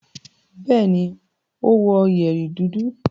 Bẹ́ẹ̀ni, ó wọ yẹ̀rì dúdú.